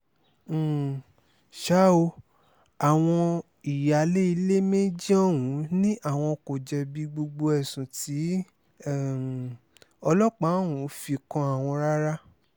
um ṣá o àwọn ìyáálé ilé méjì ọ̀hún ni àwọn kò jẹ̀bi gbogbo ẹ̀sùn tí um ọlọ́pàá ọ̀hún fi kan àwọn rárá